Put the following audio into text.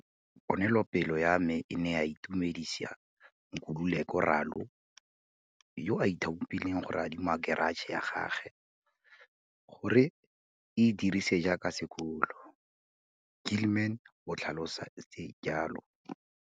Ponelopele ya me e ne ya itumedisa Nkululeko Ralo, yo a ithaopileng go re adima keratšhe ya gagwe gore re e dirise jaaka sekolo, Gilman o tlhalositse jalo.